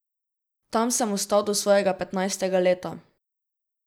Tam sem ostal do svojega petnajstega leta.